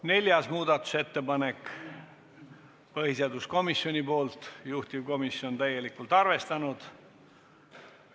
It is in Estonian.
Neljas muudatusettepanek on põhiseaduskomisjonilt, juhtivkomisjon on seda täielikult arvestanud.